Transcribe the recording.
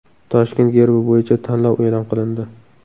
Toshkent gerbi bo‘yicha tanlov e’lon qilindi.